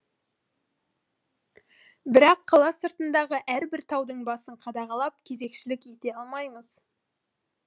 бірақ қала сыртындағы әрбір таудың басын қадағалап кезекшілік ете алмаймыз